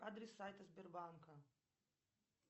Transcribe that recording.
адрес сайта сбербанка